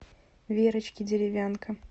верочке деревянко